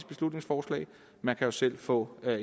beslutningsforslag man kan jo selv få